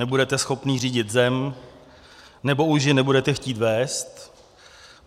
Nebudete schopný řídit zem, nebo už ji nebudete chtít vést.